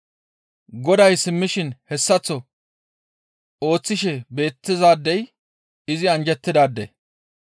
Goday simmishin hessaththo ooththishe beettizaadey izi anjjettidaade.